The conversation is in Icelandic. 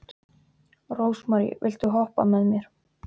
Rósmary, viltu hoppa með mér?